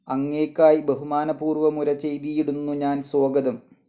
അങ്ങയ്ക്കായ് ബഹുമാനപൂർവ്വമുരചെയ്തീടുന്നു ഞാൻ സ്വാഗതം.